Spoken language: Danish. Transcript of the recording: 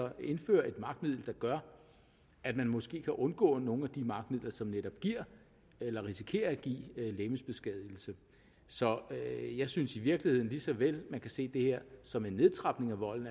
indfører et magtmiddel der gør at man måske kan undgå nogle af de magtmidler som netop giver eller risikerer at give legemsbeskadigelse så jeg synes i virkeligheden man lige så vel kan se det her som en nedtrapning af volden